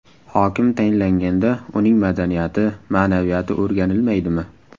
Hokim tayinlanganda uning madaniyati, ma’naviyati o‘rganilmaydimi?